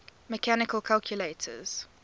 mechanical calculators